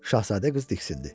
Şahzadə qız diksindi.